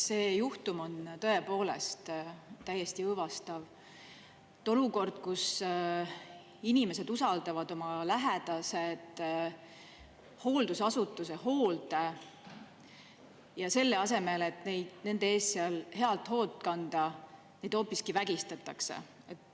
See juhtum on tõepoolest täiesti õõvastav: olukord, kus inimesed usaldavad oma lähedased hooldusasutuse hoolde, aga selle asemel, et nende eest head hoolt kanda, neid hoopiski vägistatakse.